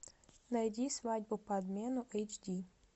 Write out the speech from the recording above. найди свадьба по обмену эйч ди